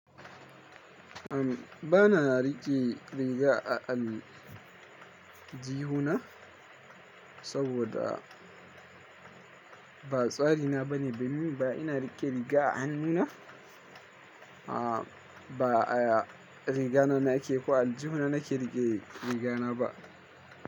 Bana riƙe riga a aljihu na saboda ba tsari na bane, ban yi ba. Ina riƙe riga a hannu na, ba a riga na nake ko aljihu na nake riƙe riga na ba.